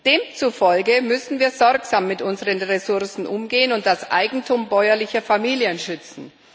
Demzufolge müssen wir sorgsam mit unseren Ressourcen umgehen und das Eigentum bäuerlicher Familien schützen.